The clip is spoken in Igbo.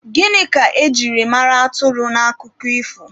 Gịnị ka e jiri mara atụrụ n'akụkọ ifo?